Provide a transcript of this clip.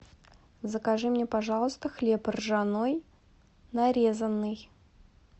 закажи мне пожалуйста хлеб ржаной нарезанный